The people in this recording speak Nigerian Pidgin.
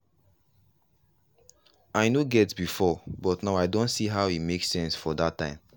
i no get before but now i don see how e make sense for that time.